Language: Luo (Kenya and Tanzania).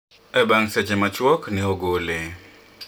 bang seche ma chuok ne ogole